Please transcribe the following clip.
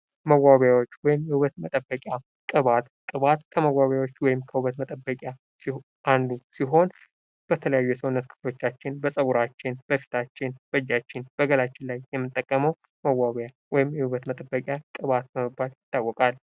መዋቢያዎች ወይም የውበት መጠበቂያ ፦ ቅባት ፦ ቅባት ከመዋቢዎች ወይም ከውበት መጠበቂያዎች አንዱ ሲሆን በተለያዩ የሰውነት ክፍሎቻችን በፀጉራችን ፣ በፊታችን ፣ በእጃችን ፣ በገላችን ላይ የምንጠቀመው መዋቢያ ወይም የውበት መጠበቂያ ቅባት በመባል ይታወቃል ።